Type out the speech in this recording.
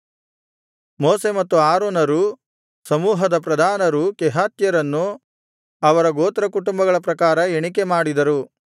ಮೋಶೆ ಮತ್ತು ಆರೋನರೂ ಸಮೂಹದ ಪ್ರಧಾನರೂ ಕೆಹಾತ್ಯರನ್ನು ಅವರ ಗೋತ್ರಕುಟುಂಬಗಳ ಪ್ರಕಾರ ಎಣಿಕೆ ಮಾಡಿದರು